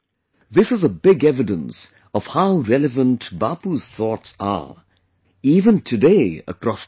This is a big evidence of how relevant Bapu's thoughts are even today across the world